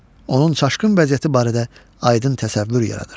Onun çaşqın vəziyyəti barədə aydın təsəvvür yaranır.